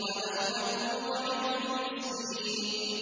وَلَمْ نَكُ نُطْعِمُ الْمِسْكِينَ